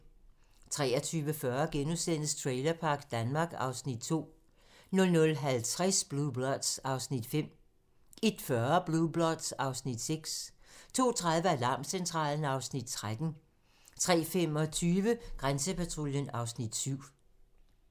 23:40: Trailerpark Danmark (Afs. 2)* 00:50: Blue Bloods (Afs. 5) 01:40: Blue Bloods (Afs. 6) 02:30: Alarmcentralen (Afs. 13) 03:25: Grænsepatruljen (Afs. 7)